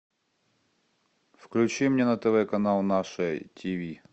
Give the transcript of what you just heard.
включи мне на тв канал наше тв